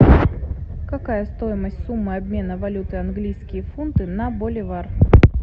какая стоимость суммы обмена валюты английские фунты на боливар